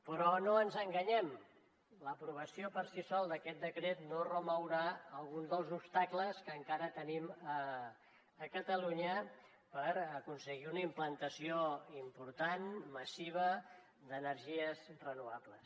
però no ens enganyem l’aprovació per si sola d’aquest decret no remourà alguns dels obstacles que encara tenim a catalunya per aconseguir una implantació important massiva d’energies renovables